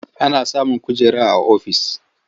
Ana samun kujera a ofis.